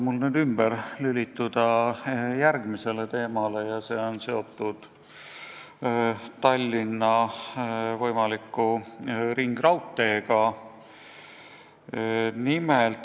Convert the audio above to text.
Lubage mul ümber lülituda järgmisele teemale, mis on seotud Tallinna võimaliku ringraudteega.